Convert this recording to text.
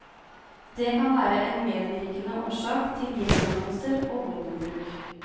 Det kan være en medvirkende årsak til gjengdannelser og våpenbruk.